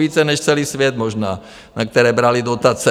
Více než celý svět možná, na které brali dotace.